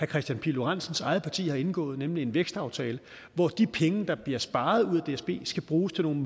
kristian pihl lorentzens eget parti har indgået nemlig en vækstaftale hvor de penge der bliver sparet ud af dsb skal bruges til nogle